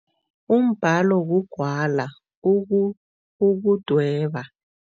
Umbalo kugwala ukudweba.